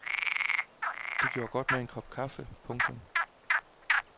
Det gjorde godt med en kop kaffe. punktum